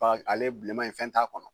Fa ale bilenma in fɛn t' a kɔnɔ